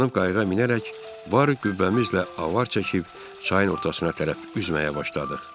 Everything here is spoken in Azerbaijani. Hoppanıb qayığa minərək var qüvvəmizlə avar çəkib çayın ortasına tərəf üzməyə başladıq.